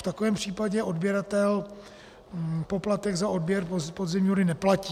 V takovém případě odběratel poplatek za odběr podzemní vody neplatí.